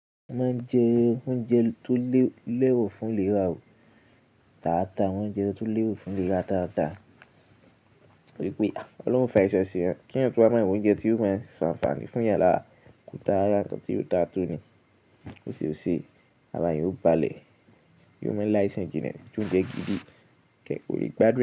Wọ́n máa ń jẹ oúnjẹ tó lẹ́ro fún léra dáàdà. Mo mo jẹ oúnjẹ tó lẹ́ro fún léra dáàdà to ri wípé Ọlọ́run o fàisan ṣẹ́eyan. Keeyan tú wa máa wa oúnjẹ tí yóò mo s'anfaaní fún'yan làrá, ko da rara ǹkan tí ò da tónì. Ó ṣe ó ṣe, ara yóò balẹ̀. Yóò máa ń láìṣan jìnnà. J'Òúnjẹ gidi kì é kó le gbádun e.